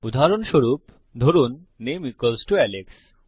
উদাহরণস্বরূপ ধরুন নামে ইকুয়ালস টো আলেক্স